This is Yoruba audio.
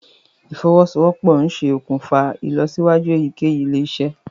ìfowosowopo nṣe òkùnfà ìlọsíwájú eyikeyi ilé-isé